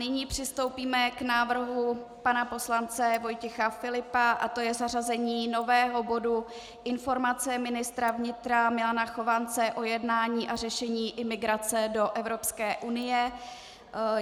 Nyní přistoupíme k návrhu pana poslance Vojtěch Filipa a to je zařazení nového bodu Informace ministra vnitra Milana Chovance o jednání a řešení imigrace do Evropské unie.